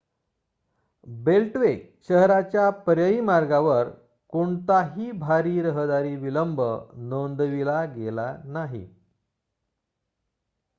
beltway शहराच्या पर्यायी मार्गावर कोणताही भारी रहदारी विलंब नोंदविला गेला नाही